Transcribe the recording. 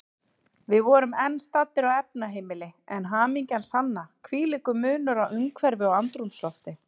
Við vorum enn staddir á efnaheimili, en hamingjan sanna, hvílíkur munur á umhverfi og andrúmslofti.